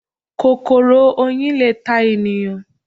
Kòkòrò Oyin le ta ènìyàn